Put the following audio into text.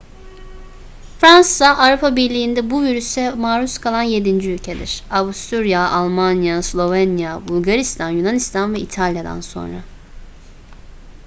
fransa avrupa birliği'nde bu virüse maruz kalan yedinci ülkedir; avusturya almanya slovenya bulgaristan yunanistan ve i̇talya'dan sonra